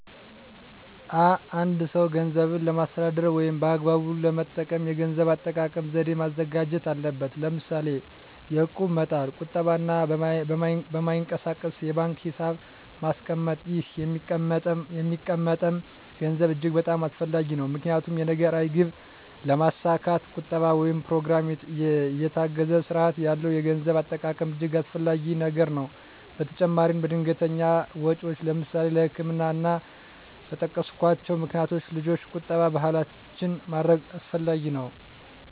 አ አንድ ሰው ገንዘብን ለማስተዳደር ወይም በአግባቡ ለመጠቀም የገንዘብ አጠቃቀም ዘዴ ማዘጋጀት አለበት ለምሳሌ የእቁብ መጣል ቁጠባ እና በማይንቀሳቀስ የባንክ ሒሳብ ማስቀመጥ ይህ የሚቀመጠም ገንዘብ እጅግ በጣም አስፈላጊ ነው ምክንያቱም የነገ ራዕይ ግብ ለማስካት ቁጠባ ወይም በኘሮግራም የታገዘ ስርአት ያለው የገንዘብ አጠቃቀም እጅገ አስፈላጊ ነገር ነው በተጨማራም ለድንገተኛ ወጨወች ለምሳሌ ለህክምና እና እና በጠቀስኮቸው ምክንያቶች ልጆች ቁጠባ ባህላችን ማድረግ አስፈላጊ ነው።